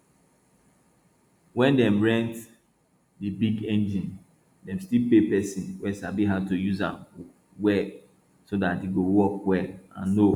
when dem rent di big engine dem still pay person wey sabi how to use am well so dat e go work well and no